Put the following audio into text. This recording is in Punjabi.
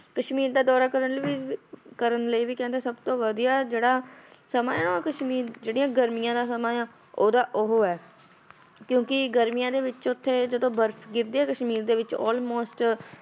ਕਸ਼ਮੀਰ ਦਾ ਦੌਰਾ ਕਰਨ ਲਈ ਵੀ ਕਰਨ ਲਈ ਵੀ ਕਹਿੰਦੇ ਸਭ ਤੋਂ ਵਧੀਆ ਜਿਹੜਾ ਸਮਾਂਂ ਹੈ ਉਹ ਕਸ਼ਮੀਰ ਜਿਹੜੀਆਂ ਗਰਮੀਆਂ ਦਾ ਸਮਾਂ ਆ ਉਹਦਾ ਉਹ ਹੈ ਕਿਉਂਕਿ ਗਰਮੀਆਂ ਦੇ ਵਿੱਚ ਉੱਥੇ ਜਦੋਂ ਬਰਫ਼ ਗਿਰਦੀ ਹੈ ਕਸ਼ਮੀਰ ਦੇ ਵਿੱਚ almost